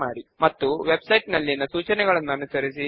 ఇందులో క్రింద ఒక సబ్ ఫామ్ కూడా కనిపిస్తోందని గమనించండి